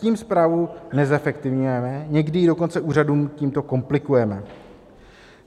Tím správu nezefektivňujeme, někdy ji dokonce úřadům tímto komplikujeme.